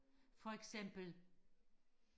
for eksempel